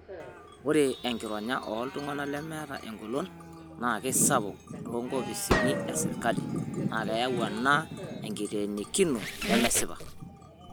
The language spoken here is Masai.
Ore enkironya ooltung'ana lemeeta engolon naa keisapuk toonkopisini e sirkali naa keyau ena enkiteenikino nemesipa